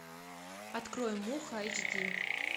открой муха эйч ди